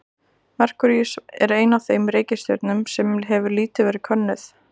Merkúríus er ein af þeim reikistjörnum sem hefur lítið verið könnuð.